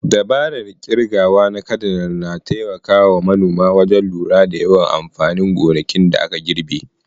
Dabarar kirgawa na kidayar na taimaka wa manoma wajen lura da yawan amfanin gonakin da aka girbe.